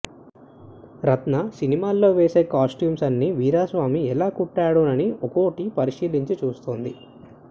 రత్న సినిమాలో వేసే కాస్ట్యూమ్స్ అన్నీ వీరాస్వామి ఎలా కుట్టాడోనని ఒకటొకటే పరిశీలించి చూస్తోంది